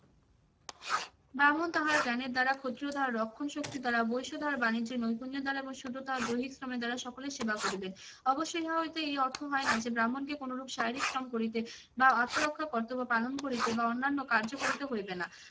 ব্রাহ্মণ তাহার জ্ঞানের দ্বারা, ক্ষত্রিয় তাহার রক্ষণশক্তির দ্বারা, বৈশ তাহার বাণিজ্য নৈপুণ্যের দ্বারা, এবং শূদ্র তাহার দৈহিক শ্রমের দ্বারা সকলের সেবা করিবে। অবশ্যই ইহা হইতে এই অর্থ হয় না যে ব্রাহ্মণকে কোনরূপ শারীরিক শ্রম করিতে বা আত্মরক্ষা কর্তব্য পালন করিতে বা অন্যান্য কার্য করিতে হইবে না।